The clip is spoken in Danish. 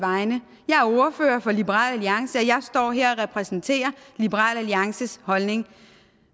vegne jeg er ordfører for liberal alliance og jeg står her og repræsenterer liberal alliances holdning